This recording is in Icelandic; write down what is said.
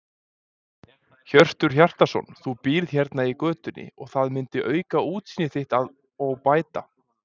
Hjörtur Hjartarson: Þú býrð hérna í götunni og það myndi auka útsýni þitt og bæta?